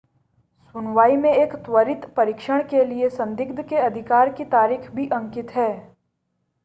सुनवाई में एक त्वरित परीक्षण के लिए संदिग्ध के अधिकार की तारीख भी अंकित है